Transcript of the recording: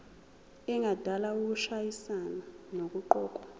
engadala ukushayisana nokuqokwa